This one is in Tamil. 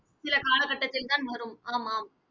சில காலகட்டத்தில் தான் வரும் ஆமாம்